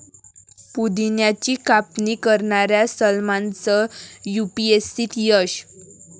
पुदिन्याची कापणी करणाऱ्या सलमानचं युपीएससीत यश